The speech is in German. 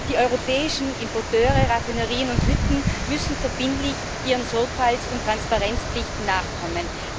Die europäischen Importeure, Raffinerien und Hütten müssen verbindlich ihren Sorgfalts und Transparenzpflichten nachkommen.